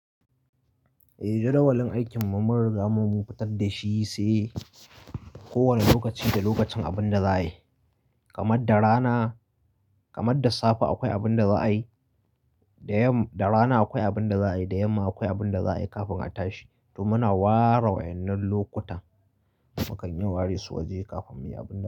Eh jadawalin aikin mu mun riga mun fitar da shi sai kowane lokaci da lokacin abin da za a yi kamar da rana kamar da safe akwai abin da za a yi da yamma da rana akwai abin da za a yi da yamma akwai abin da za a yi kafin a tashi to muna ware wa yan nan lokuta mukan yi ware su waje kafin mu yi abin da za a yi.